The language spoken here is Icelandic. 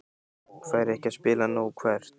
Fær ekki að spila nóg Hvert?